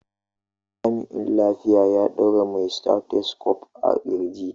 Jami'in lafiya ya ɗaura mai stethoscope a ƙirji.